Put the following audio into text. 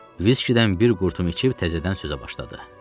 Viskidən bir qurtum içib təzədən sözə başladı.